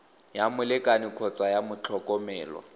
ya molekane kgotsa ya motlhokomelwa